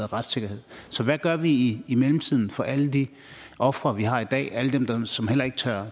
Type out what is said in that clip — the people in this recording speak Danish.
retssikkerheden så hvad gør vi i mellemtiden for alle de ofre vi har i dag alle dem som ikke tør